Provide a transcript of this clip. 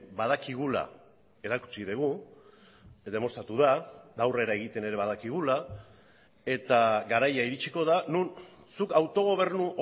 badakigula erakutsi dugu demostratu da aurrera egiten ere badakigula eta garaia iritsiko da non zuk autogobernu